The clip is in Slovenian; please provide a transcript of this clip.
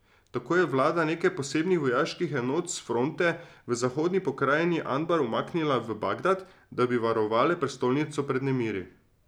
Tako je vlada nekaj posebnih vojaških enot s fronte v zahodni pokrajini Anbar umaknila v Bagdad, da bi varovale prestolnico pred nemiri.